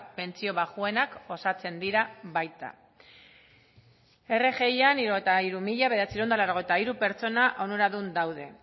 pentsio baxuenak osatzen dira baita rgian hirurogeita hamairu mila bederatziehun eta laurogeita hiru pertsona onuradun daude